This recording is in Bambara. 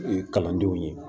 Kalandenw ye